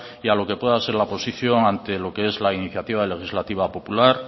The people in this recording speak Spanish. y a lo que pueda ser la posición ante lo que es la iniciativa legislativa popular